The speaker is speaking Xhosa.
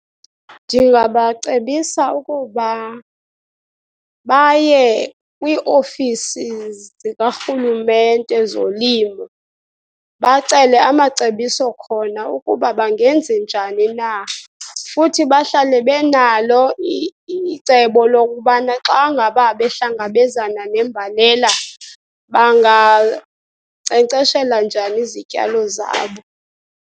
Ndingabacebisa ukuba baye kwiiofisi zikarhulumente zolimo bacele amacebiso khona ukuba bangenze njani na. Futhi bahlale benalo icebo lokubana xa ngaba behlangabezana nembalela, bangankcenkceshela njani izityalo zabo.